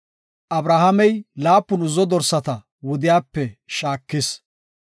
Abrahaamey laapun uzzo dorsata wudiyape shaakis;